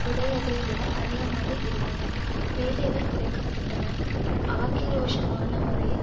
உடையதைவிட அதிகமாக இருந்தன வேலைகள் குறைக்க பட்டன ஆக்கிரோஷமான முறையில்